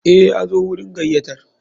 Eh, Yazo wurin gayyatar.